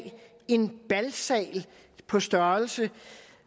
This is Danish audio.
en balsal på størrelse